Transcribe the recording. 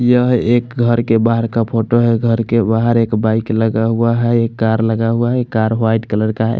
यह एक घर के बहार का फोटो है घर के बहार एक बाइक लगा हुआ है कार लगा हुआ है कार वाइट कलर का है।